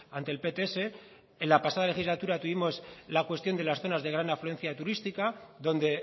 ante el pts en la pasada legislatura tuvimos la cuestión de las zonas de gran afluencia turística donde